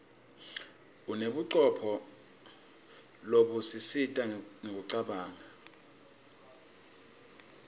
unebucopho lobusisita kucabanga